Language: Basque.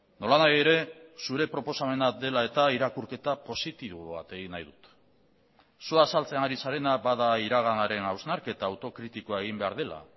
nolanahi ere zure proposamena dela eta irakurketa positibo bat egin nahi dut zu azaltzen ari zarena bada iraganaren hausnarketa autokritikoa egin behar dela